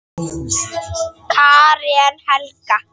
Karen Helga.